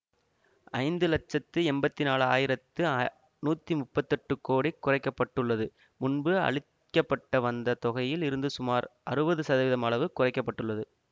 ஐந்து லட்சத்து எம்பத்தி நான்ளு ஆயிரத்து நூற்றி முப்பத்தி எட்டு கோடி குறைக்க பட்டுள்ளது முன்பு அளிக்க பட்டு வந்த தொகையில் இருந்து சுமார் அறுபது சதவீதம் அளவு குறைக்க பட்டுள்ளது